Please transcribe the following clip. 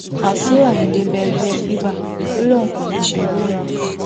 wàṣíù ayíǹde bẹ ẹgbẹ fiba ó lóun kò ní í ṣerú ẹ mọ